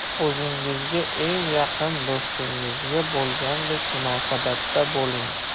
O‘zingizga eng yaqin do‘stingizga bo‘lgandek munosabatda bo‘ling.